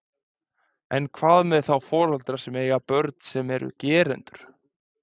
En hvað með þá foreldra sem eiga börn sem eru gerendur?